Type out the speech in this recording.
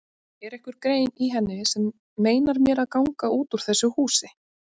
Er einhver grein í henni sem meinar mér að ganga út úr þessu húsi?